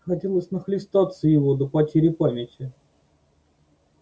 хотелось нахлестаться его до потери памяти